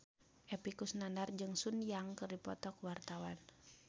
Epy Kusnandar jeung Sun Yang keur dipoto ku wartawan